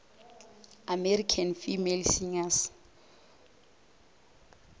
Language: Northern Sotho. american female singers